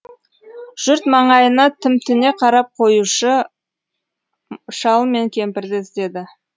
жұрт маңайына тімтіне қарап қоюшы шал мен кемпірді іздеді